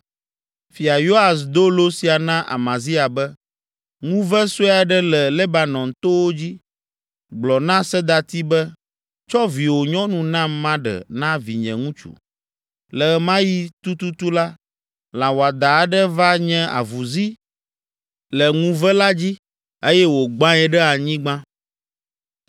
Fia Yoas do lo sia na Amazia be, “Ŋuve sue aɖe le Lebanon towo dzi gblɔ na sedati be, ‘Tsɔ viwò nyɔnu nam maɖe na vinye ŋutsu.’ Le ɣe ma ɣi tututu la, lã wɔadã aɖe va nye avuzi le ŋuve la dzi eye wògbãe ɖe anyigba.